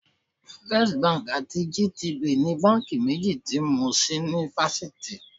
First Bank àti GTB ni báńkì méjì tí mo ṣí ní fásitì.